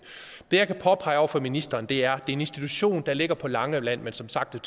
det jeg kan påpege over for ministeren det er en institution der ligger på langeland men som sagt